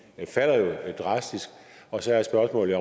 falder drastisk og så er spørgsmålet